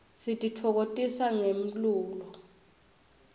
sititfokotisa ngemlulo